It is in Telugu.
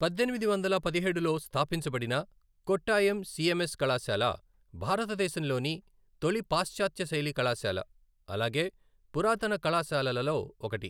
పద్దెనిమిది వందల పదిహేడులో స్థాపించబడిన కొట్టాయం సిఎంఎస్ కళాశాల, భారతదేశంలోని తొలి పాశ్చాత్య శైలి కళాశాల అలాగే పురాతన కళాశాలలలో ఒకటి.